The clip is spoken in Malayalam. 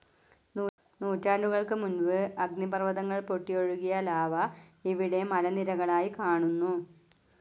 നൂറ്റാണ്ടുകൾക്ക് മുൻപ് അഗ്നിപർവതങ്ങൾ പൊട്ടിയൊഴുകിയ ലാവ ഇവിടെ മലനിരകളായി കാണുന്നു.